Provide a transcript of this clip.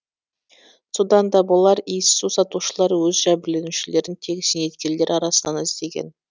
содан да болар иіссу сатушылар өз жәбірленушілерін тек зейнеткерлер арасынан іздеген